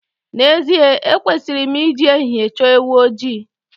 N'ezie ekwesịrị m ị ji ehihie chọọ ewu ojii.